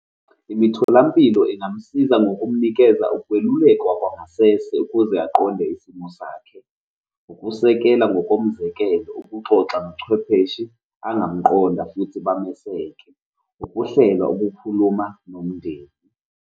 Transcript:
Imitholampilo ingamsiza ngokumnikeza ukwelulekwa kwangasese ukuze aqonde isimo sakhe, ukusekelwa ngokomzekelo, ukuxoxa nochwepheshe angamqonda futhi bameseke, ukuhlela ukukhuluma nomndeni.